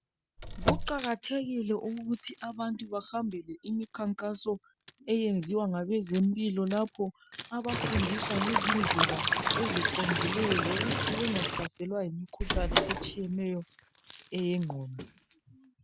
Kuqakathekile ukuthi abantu bahambele imikhankaso eyenziwa ngabezempilo .Lapho abafundiswa ngezindlela eziqondileyo, zokuthi bengahlaselwa yimikhuhlane etshiyeneyo, eyengqondo.